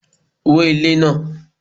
wó ilé náà!